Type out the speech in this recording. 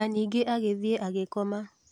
Na ningĩ agĩthiĩ agĩkoma.